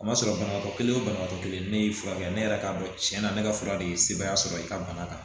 A ma sɔrɔ banabagatɔ kelen o banabagatɔ kelen ne y'i furakɛ ne yɛrɛ k'a dɔn cɛn na ne ka fura de ye sebaaya sɔrɔ i ka bana kan